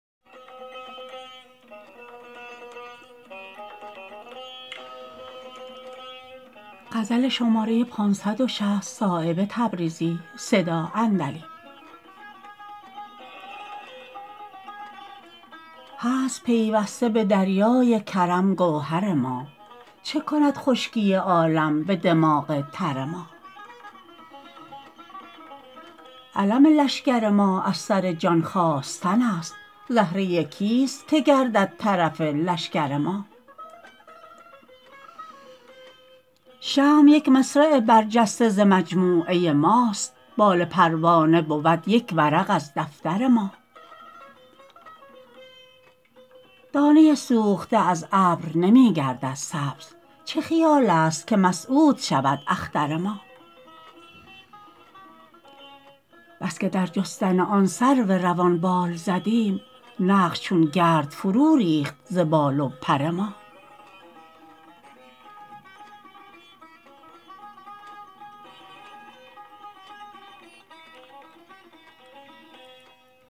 هست پیوسته به دریای کرم گوهر ما چه کند خشکی عالم به دماغ تر ما علم لشکر ما از سر جان خاستن است زهره کیست که گردد طرف لشکر ما شمع یک مصرع برجسته ز مجموعه ماست بال پروانه بود یک ورق از دفتر ما دانه سوخته از ابر نمی گردد سبز چه خیال است که مسعود شود اختر ما بس که در جستن آن سرو روان بال زدیم نقش چون گرد فرو ریخت ز بال و پر ما